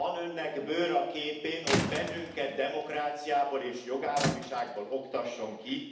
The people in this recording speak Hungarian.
Van Önnek bőr a képén, hogy bennünket demokráciából és jogállamiságból oktasson ki?